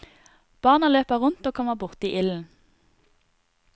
Barna løper rundt og kommer borti ilden.